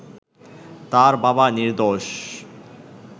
তার বাবা নির্দোষ